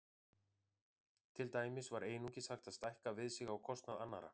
Til dæmis var einungis hægt að stækka við sig á kostnað annarra.